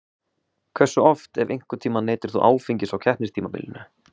Hversu oft ef einhvern tíman neytir þú áfengis á keppnistímabilinu?